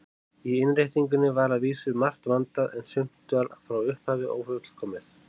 Í innréttingunni var að vísu margt vandað, en sumt var frá upphafi ófullkomið.